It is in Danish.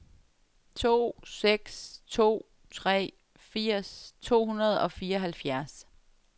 to seks to tre firs to hundrede og fireoghalvfjerds